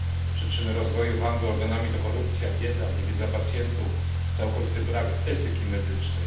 Przyczyny rozwoju handlu organami to korupcja, bieda, niewiedza pacjentów, całkowity brak etyki medycznej.